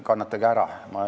Kannatage ära!